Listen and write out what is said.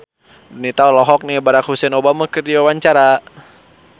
Donita olohok ningali Barack Hussein Obama keur diwawancara